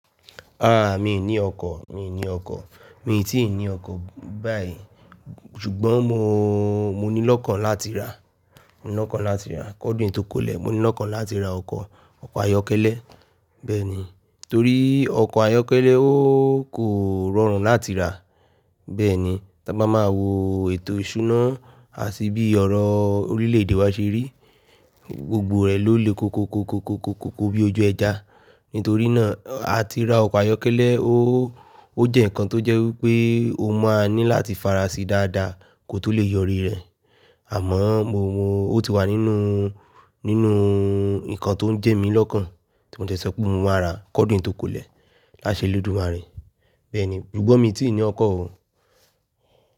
Ah, mi ò ní ọkọ̀, mi ò ní ọkọ̀, mi ti ní ọkọ̀ báyìí ṣùgbọ́n mo, mo ní lọ́kàn láti ra, mo ní lọ́kàn láti ra k'ọdun yi tó kó lẹ̀, mo ní lọ́kàn láti ra ọkọ̀, ọkọ̀ ayọ́kẹ́lẹ́ bẹ́ẹ̀ ni. Torí ọkọ̀ ayọ́kẹ́lẹ́ ó kò rọrùn láti rà. Bẹ́ẹ̀ ni, tí a bá máa wo ètò ìsúná àti bí ọrọ̀ orílẹ̀-èdè wa ṣe rí, gbogbo rẹ̀ ló le koko koko koko koko bí ojú ẹja. Nítorí náà, a ti ra ọkọ̀ ayọ́kẹ́lẹ́ ó, ó jẹ́ ǹkan tó jẹ́ wipé o máa ní láti fara sí dáadáa kó tó lè yọrí rẹ̀. Àmọ́ mo, mo, ó ti wà nínú, nínú ǹkan tó ń jẹ mí lọ́kàn tí mo dẹ sọ pé mo máa rà k'ọdun yi tó kó lẹ̀ láṣẹ Olódùmarè. Bẹ́ẹ̀ ni, ṣùgbọ́n mi ò tí ì ní ọkọ̀ o.